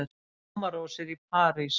Blómarósir í París